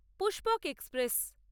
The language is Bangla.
পুস্পক এক্সপ্রেস